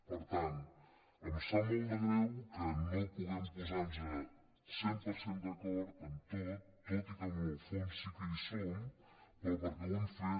per tant em sap molt de greu que no pu·guem posar·nos cent per cent d’acord en tot tot i que en el fons sí que hi estem però perquè ho hem fet